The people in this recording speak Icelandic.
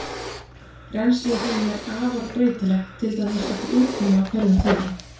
Rennsli í þeim er afar breytilegt, til dæmis eftir úrkomu á hverjum tíma.